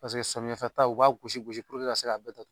Paseke samiyɛfɛta u b'a gosi gosi ka se k'a bɛɛ ta